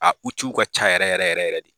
A ka ca yɛrɛ yɛrɛ yɛrɛ yɛrɛ de.